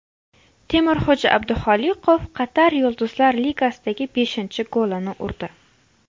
Temurxo‘ja Abduxoliqov Qatar Yulduzlar ligasidagi beshinchi golini urdi.